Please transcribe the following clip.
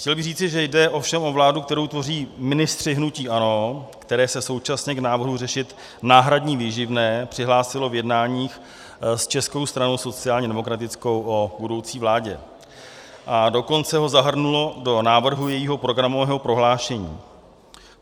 Chtěl bych říci, že jde ovšem o vládu, kterou tvoří ministři hnutí ANO, které se současně k návrhu řešit náhradní výživné přihlásilo v jednáních s Českou stranou sociálně demokratickou o budoucí vládě a dokonce ho zahrnulo do návrhu jejího programového prohlášení.